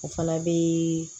O fana bɛ